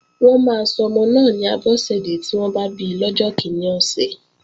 Wọ́n máa sọmọ náà ni Abọ́sẹ̀dẹ́ tí wọ́n bá bi lọ́jọ́ kíní ọ̀sẹ̀